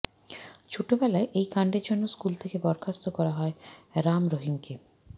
ছোটবেলায় এই কাণ্ডের জন্য স্কুল থেকে বরখাস্ত করা হয় রাম রহিমকে